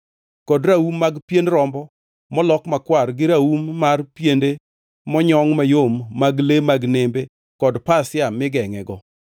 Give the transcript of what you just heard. kod raum mag pien rombo molok makwar gi raum mar piende monyongʼ mayom mag le mag nembe kod pasia migengʼego;